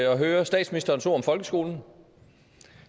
at høre statsministerens ord om folkeskolen